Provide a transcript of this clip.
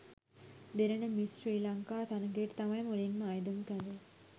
දෙරණ miss Sri Lanka තරගයට තමයි මුලින්ම අයදුම් කළේ.